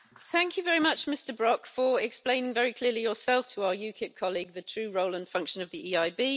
Thank you very much, Mr Brok, for explaining very clearly yourself to our UKIP colleague the true role and function of the EIB.